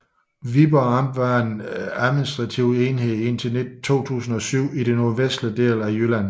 Viborg Amt var en administrativ enhed indtil 2007 i den nordvestlige del af Jylland